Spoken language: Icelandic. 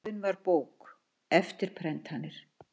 Gjöfin var bók, eftirprentanir